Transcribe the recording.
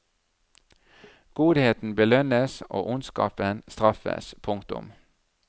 Godheten belønnes og ondskapen straffes. punktum